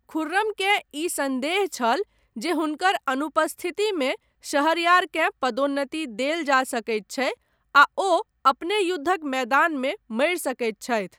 खुर्रमकेँ ई सन्देह छल जे हुनकर अनुपस्थितिमे शहरयारकेँ पदोन्नति देल जा सकैत छै आ ओ अपने युद्धक मैदानमे मरि सकैत छथि।